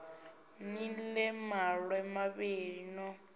ni ḽee maṋwe mavhili no